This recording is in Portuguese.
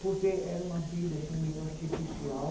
Porque era uma vida assim meio artificial.